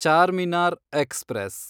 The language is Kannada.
ಚಾರ್ಮಿನಾರ್ ಎಕ್ಸ್‌ಪ್ರೆಸ್